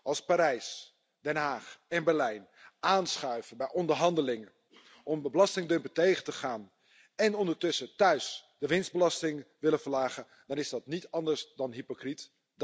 Als Parijs, Den Haag en Berlijn aanschuiven bij onderhandelingen om belastingdumping tegen te gaan en ondertussen thuis de winstbelasting willen verlagen, dan is dat niet anders dan hypocriet.